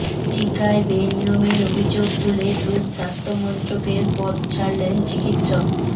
টিকায় বেনিয়মের অভিযোগ তুলে রুশ স্বাস্থ্যমন্ত্রকের পদ ছাড়লেন চিকিৎসক